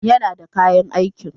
Yana da kayan aikin.